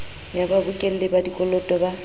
ya babokelli ba dikoloto ba